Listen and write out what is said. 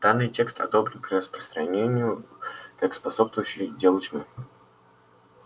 данный текст одобрен к распространению как способствующий делу тьмы